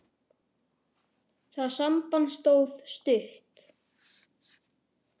Það samband stóð stutt.